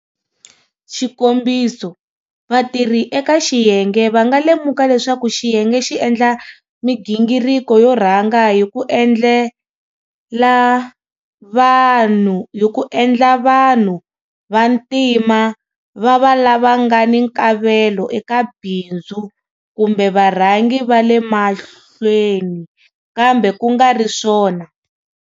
Xikombiso, vatirhi eka xiyenge va nga lemuka leswaku xiyenge xi endla migingiriko yo rhanga hi ku endla vanhu vantima va va lava nga ni nkavelo eka bindzu kumbe varhangi va le mahlweni, kambe ku nga ri swona,